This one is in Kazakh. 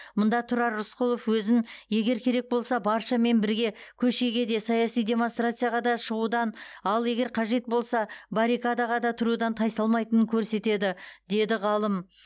мұнда тұрар рысқұлов өзін егер керек болса баршамен бірге көшеге де саяси демонстрацияға да шығудан ал егер қажет болса баррикадаға да тұрудан тайсалмайтынын көрсетеді деді ғалым